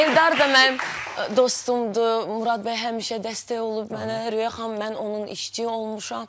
Eldar da mənim dostumdur, Murad bəy həmişə dəstək olub mənə, Röya xanım, mən onun işçisi olmuşam.